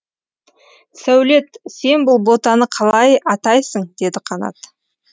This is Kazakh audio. сәулет сен бұл ботаны қалай атайсың деді қанат